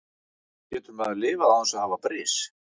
Getur maður lifað án þess að hafa bris?